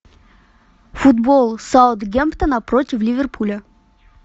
футбол саутгемптона против ливерпуля